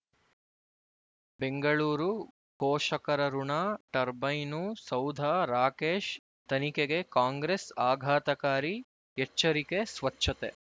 ಬೆಂಗಳೂರು ಪೋಷಕರಋಣ ಟರ್ಬೈನು ಸೌಧ ರಾಕೇಶ್ ತನಿಖೆಗೆ ಕಾಂಗ್ರೆಸ್ ಆಘಾತಕಾರಿ ಎಚ್ಚರಿಕೆ ಸ್ವಚ್ಛತೆ